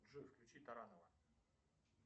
джой включи таранова